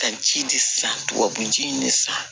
Ka ji de san tubabu ji ni san